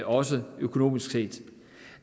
også økonomisk set